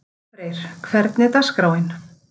Oddfreyr, hvernig er dagskráin?